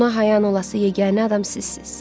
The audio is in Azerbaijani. Ona hayan olası yeganə adam sizsiz.